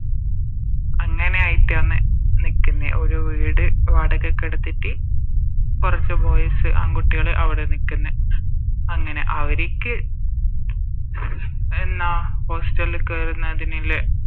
അങ്ങനെയായിറ്റാന്ന് നിക്ക്ന്നെ ഓരോ വീട് വാടകക്ക് എടുത്തിറ്റ് കൊറച്ച് Boys ആൺകുട്ടികള് അവിടെ നിക്കുന്നെ അങ്ങനെ അവരിക്ക് എന്നാ Hostel ല് കേരുന്നതിന